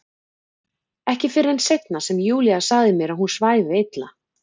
Ekki fyrr en seinna sem Júlía sagði mér að hún svæfi illa.